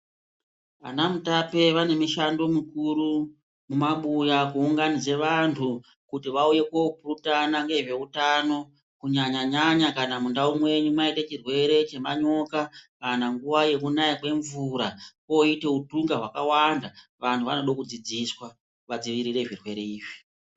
Anamutape vane mushando mukuru mumabuya kuunganidze vantu kuti vauye kopurutana ngezveutano kunyanyanya mundau mwenyu mwaite chirwere chemanyoka kana nguwa yekunaya kwemvura koite hutunga hwakawanda vantu vanode kudzidziswa vadzirire zvirwere izvi .